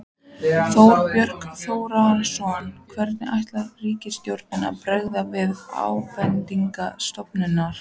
Þorbjörn Þórðarson: Hvernig ætlar ríkisstjórnin að bregðast við ábendingum stofnunarinnar?